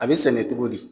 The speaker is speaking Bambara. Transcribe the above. A bɛ sɛnɛ cogo di